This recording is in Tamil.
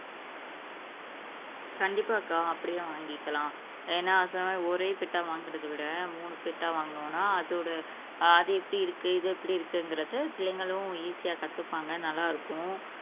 கண்டிப்பாக்கா அப்படியே வாங்கிக்கலாம் ஏன்னா எல்லாருமே ஒரே பெடா, வாங்குறதை விட மூணு பெட்டா, வாங்குனோம்னா அதோட அது எப்படி இருக்கு இது எப்படி இருக்குங்கிறது பிள்ளைங்களும் ஈஸியா கத்துப்பாங்க நல்லாருக்கும்